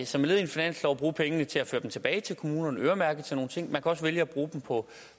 som led i en finanslov at bruge pengene til at føre dem tilbage til kommunerne øremærket til nogle ting man kan også vælge at bruge dem på